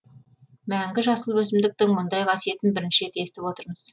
мәңгі жасыл өсімдіктің мұндай қасиетін бірінші рет естіп отырмыз